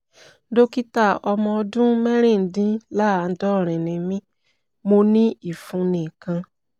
dókítà ọmọ ọdún mẹ́rìndínláàádọ́rin ni mí mo ní ìfunni kan